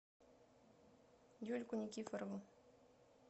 юльку никифорову